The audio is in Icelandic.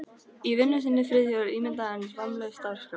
Í vinnu sinni var Friðþjófur ímynd hins vammlausa starfskrafts.